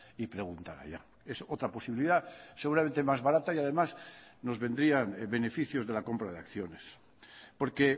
y preguntar allá es otra posibilidad seguramente más barata y además nos vendrían beneficios de la compra de acciones porque